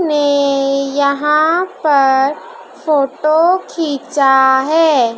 में यहां पर फोटो खींचा है।